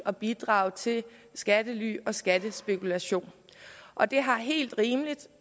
at bidrage til skattely og skattespekulation og det har helt rimeligt